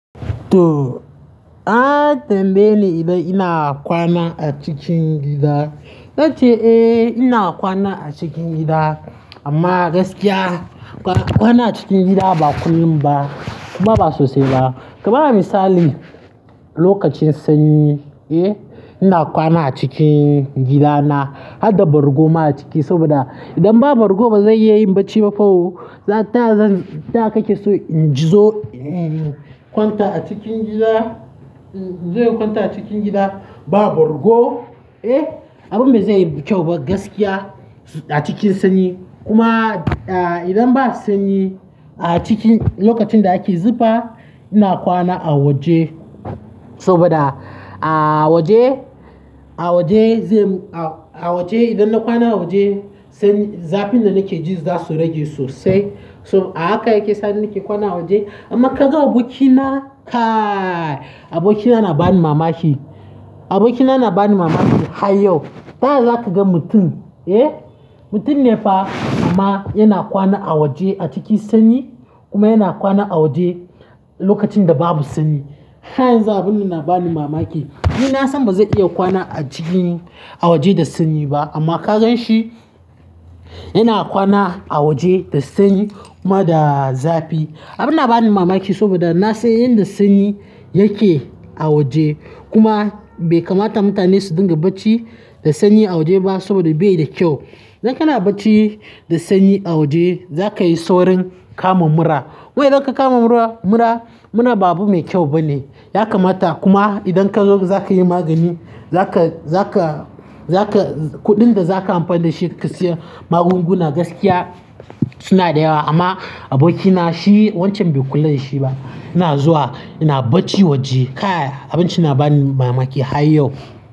To, a tambaye ni idan ina kwana a cikin gida, nace eh ina kwana a cikin gida. Amma gaskiya kwana cikin gida ba kullum ba kuma ba sosai ba. Ka bani misali lokacin sanyi, eh ina kwana acikin gidana har da bargo ma a ciki saboda idan babu bargo ba zai iya yin barci ba fa o. Taya kake so in ji zo in kwanta a cikin gida, in zo in kwanta a cikin gida ba bargo, eh abin bai zai yi kyau ba gaskiya a cikin sanyi. Kuma idan ba sanyi a ciki lokacin da ake zufa ina kwana a waje saboda a waje, a waje zai, a waje idan na kwana a waje zafin da nake ji za su rage sosai. So haka yake sa nake kwana a waje amma ka ga abokina, kai abokina na bani mamaki. Abokina na bani mamaki. Har yau ta ya za ka ga mutum, eh mutum ne fa amma yana kwana a waje a cikin sanyi kuma yana kwana a waje lokacin da babu sanyi. Har yanzu abun nan na bani mamaki. Ni na san ba zan iya kwana a cikin a waje da sanyi ba, amma ka gan shi yana kwana a waje da sanyi kuma da zafi. Abin na bani mamaki saboda na san yadda sanyi yake a waje. Kuma bai kamata mutane su dinga barci da sanyi a waje ba saboda ba shi da kyau. Idan kana barci da sanyi a waje za ka yi saurin kama mura. Kuma idan ka kama mura, mura, mura ba abu mai kyau bane. Ya kamata kuma idan ka zo za ka saya magani kudin da za ka yi amfani da shi ka siya maganguna gaskiya suna da yawa ama gaskiya abokina shi wacan bai kula da shi ba yana zuwa yana barci waje. Kai abun can na bani mamaki. Har yau.